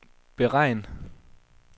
beregn